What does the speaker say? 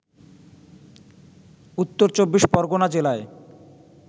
উত্তর চব্বিশ পরগণা জেলায়